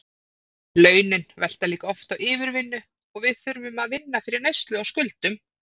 Launin velta líka oft á yfirvinnu og við þurfum að vinna fyrir neyslu og skuldum.